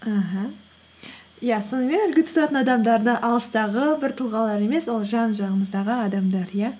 аха иә сонымен үлгі тұтатын адамдарды алыстағы бір тұлғалар емес ол жан жағымыздағы адамдар иә